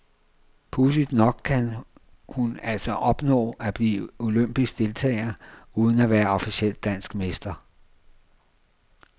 Pudsigt nok kan hun altså opnå at blive olympisk deltager uden at være officiel dansk mester.